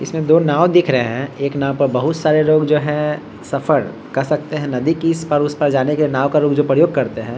इसमें दो नाव दिख रहे हैं एक नाव पर बहुत सारे लोग जो हैं सफर कर सकते है नदी की इस पार-उस पार जाने के नाव का लोग जो प्रयोग करते हैं।